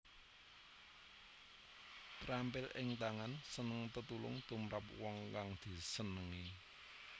Terampil ing tangan seneng tetulung tumrap wong kang disenengi